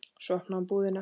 Svo opnaði hún búðina.